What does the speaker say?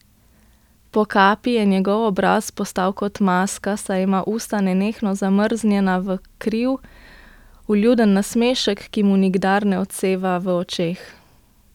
Po kapi je njegov obraz postal kot maska, saj ima usta nenehno zamrznjena v kriv, vljuden nasmešek, ki mu nikdar ne odseva v očeh.